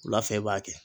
Wula fɛ i b'a kɛ